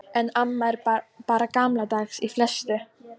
En amma er bara gamaldags í flestu.